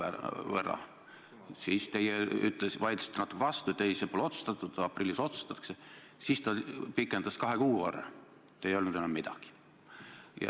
See tähendab seda, et kui peaks pidurduma mittetulundussektori tegevus nendes kokkulepitud valdkondades, siis pärsib see ka suurte riiklike tegevuste ja prioriteetide elluviimist.